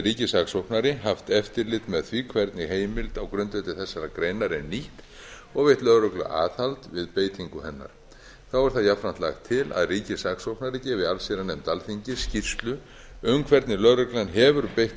ríkissaksóknari haft eftirlit með því hvernig heimild á grundvelli þessarar greinar er nýtt og veitt lögreglu aðhald við beitingu hennar þá er það jafnframt lagt til að ríkissaksóknari gefi allsherjarnefnd alþingis skýrslu um hvernig lögreglan hefur beitt